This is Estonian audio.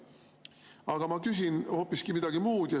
Aga ma küsin hoopis midagi muud.